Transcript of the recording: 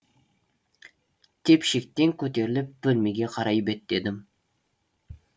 тепшектен көтеріліп бөлмеге қарай беттедім